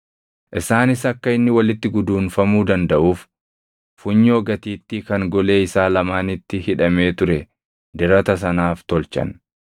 Isaanis akka inni walitti guduunfamuu dandaʼuuf funyoo gatiittii kan golee isaa lamaanitti hidhamee ture dirata sanaaf tolchan.